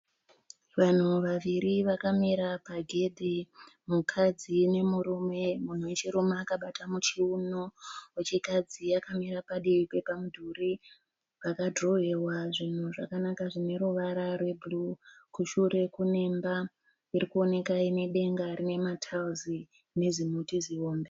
Vanhu vaviri vakamira pagedhi mukadzi nemurume. Munhu wechirume akabata muchiuno wechikadzi akamira padivi pepamudhuri pakadhirowewa zvinhu zvakanaka zvine ruvara rwe bhuruu. Kushure kuneimba irikuoneka inedenga nema taera nezimuti zihombe.